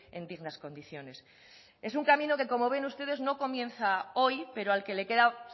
en dignas condiciones es un camino que como ven ustedes no comienza hoy pero al que le queda